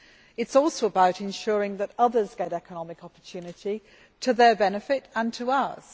It is also about ensuring that others get economic opportunity to their benefit and to ours.